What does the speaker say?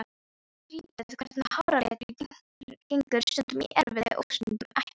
Skrýtið hvernig háralitur gengur stundum í erfðir og stundum ekki.